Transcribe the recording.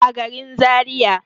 a garin zariya